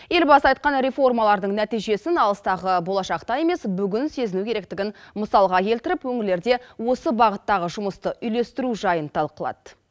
елбасы айтқан реформалардың нәтижесін алыстағы болашақта емес бүгін сезіну керектігін мысалға келтіріп өңірлерде осы бағыттағы жұмысты үйлестіру жайын талқылады